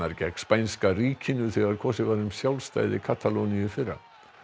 gegn spænska ríkinu þegar kosið var um sjálfstæði Katalóníu í fyrra